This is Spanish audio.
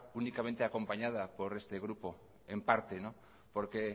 públicamente acompañada por este grupo en parte no porque